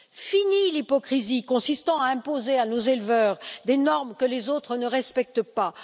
Finie l'hypocrisie consistant à imposer à nos éleveurs des normes que les autres ne respectent pas.